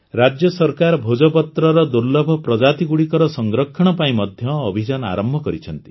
ରାଜ୍ୟ ସରକାର ଭୋଜପତ୍ରର ଦୁର୍ଲଭ ପ୍ରଜାତିଗୁଡ଼ିକର ସଂରକ୍ଷଣ ପାଇଁ ମଧ୍ୟ ଅଭିଯାନ ଆରମ୍ଭ କରିଛି